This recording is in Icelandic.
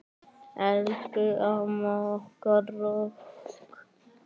Elsku amma okkar rokk.